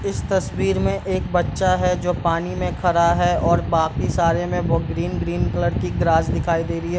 इस तसवीर में एक बच्चा है जो पानी में खड़ा है और बाकि सारे में बहुत ग्रीन - ग्रीन कलर की ग्रास दिखाई दे रही है।